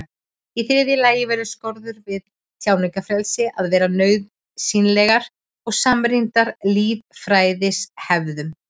Í þriðja lagi verða skorður við tjáningarfrelsi að vera nauðsynlegar og samrýmast lýðræðishefðum.